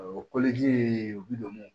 O ye u bi don mun